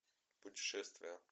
путешествие